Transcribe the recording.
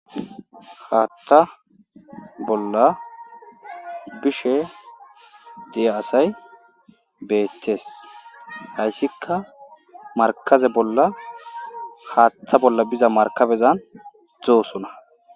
Haattha bolla bishe de'a asay beettes hayssikka markabe bolla haaththa bolla biza markabezan dzoosona